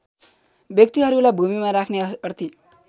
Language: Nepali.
व्यक्तिहरूलाई भूमिमा राख्ने अर्थी